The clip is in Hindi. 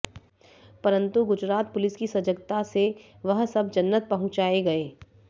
परंतु गुजरात पुलिस की सजगता से वह सब जन्नत पहुचायें गये